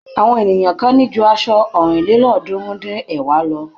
Àwọn ènìyàn kan ní ju aṣọ ọ̀rìnlélọ́ọ̀ọ́dúnrún-dín-ẹ̀wá lọ.